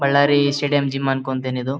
Ballari stadium gym ಅನ್ಕೋತೀನಿ ಇದು.